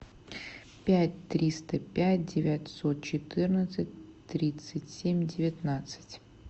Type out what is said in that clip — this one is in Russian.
пять триста пять девятьсот четырнадцать тридцать семь девятнадцать